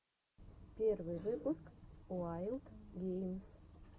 первый выпуск уайлд геймс